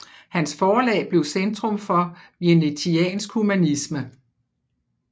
Hans forlag blev centrum for venetiansk humanisme